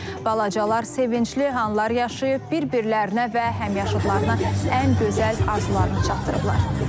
Balacalar sevincli anlar yaşayıb, bir-birlərinə və həmyaşıdlarına ən gözəl arzularını çatdırıblar.